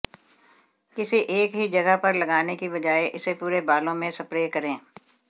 किसी एक ही जगह पर लगाने की बजाय इसे पूरे बालों में स्प्रे करें